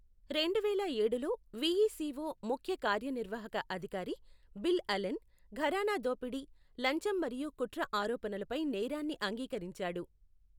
రెండు వేల ఏడులో, విఈసిఓ ముఖ్య కార్యనిర్వాహక అధికారి బిల్ అలెన్, ఘరానా దోపిడీ, లంచం మరియు కుట్ర ఆరోపణలపై నేరాన్ని అంగీకరించాడు.